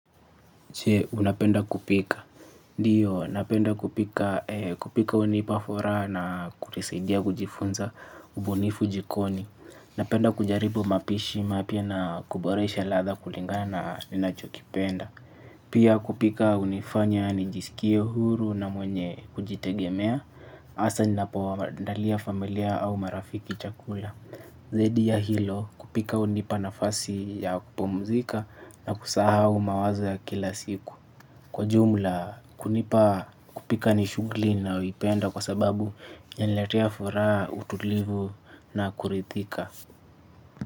Unapenda kupika ndio, napenda kupika hunipa furaha na kunisaidia kujifunza ubunifu jikoni. Napenda kujaribu mapishi mapya na kuboresha ladha kulingana na ninachokipenda. Pia kupika hunifanya nijisikie huru na mwenye kujitegemea hasa ninapoandalia familia au marafiki chakula. Zaidi ya hilo kupika hunipa nafasi ya kupumzika na kusahau mawazo ya kila siku. Kwa jumla kunipa kupika ni shughuli nayoipenda. Kwa sababu inaniletea furaha utulivu na kuridhika.